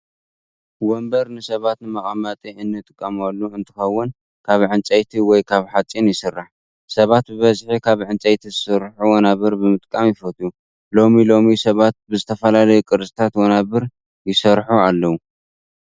ወንበር ንሰባት ንመቀመጢ እንጥቀመሎም እንትኾውን ካብ ዕንፀይቲ ወይ ካብ ሓፂን ይስራሕ። ሰባት ብበዝሒ ካብ እንፀይቲ ዝስርሑ ወናብር ምጥቃም ይፈትው። ሎሚ ሎሚ ሰባት ብዝተፈላለዩ ቅርፅታት ወናብር ይሰርሒ ኣለው።